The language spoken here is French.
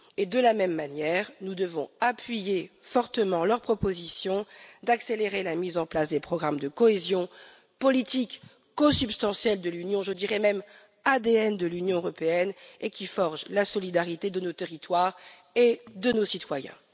De même, nous devons appuyer fortement leur proposition d'accélérer la mise en place des programmes de cohésion politique, qui sont consubstantielles de l'Union je dirais même qui sont l'ADN de l'Union européenne et qui forgent la solidarité de nos territoires et de nos citoyens.